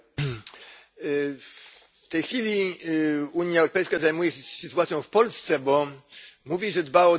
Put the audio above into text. W tej chwili Unia Europejska zajmuje się z sytuacją w Polsce, bo mówi, że dba o demokrację i rządy prawa.